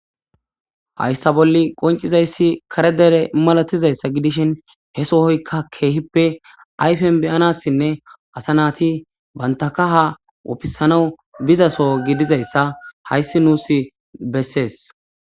hayssa bolli qoncizayssi kare dere malatizayssa gidishin he sohoykka keehippe ayfen beyanassinne asa naati bantaka kaha ufisana bizasoo gidizayssa hayssi nuus bessees